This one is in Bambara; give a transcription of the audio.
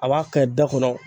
A b'a kɛ da kɔnɔ